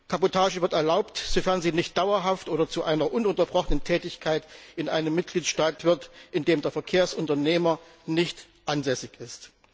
Kabotage wird erlaubt, sofern sie nicht dauerhaft oder zu einer ununterbrochenen Tätigkeit in einem Mitgliedstaat wird, in dem der Verkehrsunternehmer nicht ansässig ist.